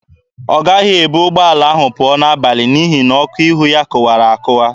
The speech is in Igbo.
Ọ gaghị ebu ụgbọala ahụ pụọ n'abalị n'ihi na ọkụ ihu ya kụwara akụwa.